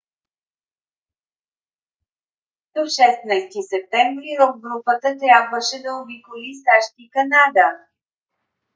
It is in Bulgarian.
до 16 септември рок групата трябваше да обиколи сащ и канада